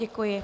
Děkuji.